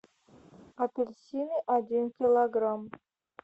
апельсины один килограмм